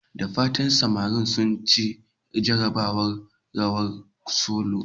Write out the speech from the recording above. Da fatan samarin sun ci jarabawar "rawar solo"?